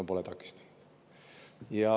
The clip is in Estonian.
No pole takistanud.